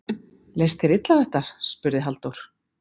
Leist þér illa á þetta? spurði Halldór.